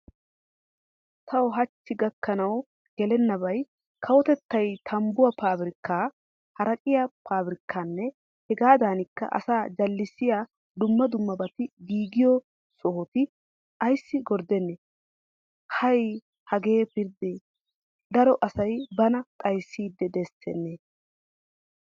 Tawu hachchi gakkanawu gelennabay kawotettay tambbuwa pabirkkaa, haraqqiya pabirkkanne hegaadanikka asaa jallissiya dumma dummabaati giigiyo sohota ayssi gordenee? Hay hagee pirdee! Daro asay bana xayssiid desitennee!!